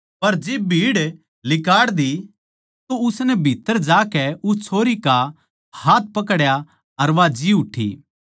पर जिब भीड़ लिकाड़ दी तो उसनै भीत्तर ज्या के उस छोरी का हाथ पकड्या अर वा जी उठी